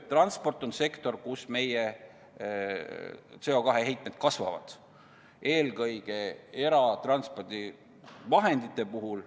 Transport on sektor, kus meie CO2 heitmed kasvavad, eelkõige eratranspordivahendite puhul.